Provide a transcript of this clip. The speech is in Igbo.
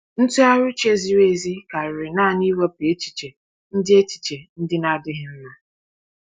Ntụgharị uche ziri ezi karịrị naanị iwepụ echiche ndị echiche ndị na-adịghị mma.